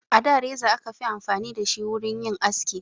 A da reza aka fi amfani da shi wurin yin aski